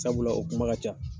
Sabula o kuma ka ca